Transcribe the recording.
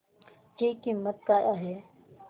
ची किंमत काय आहे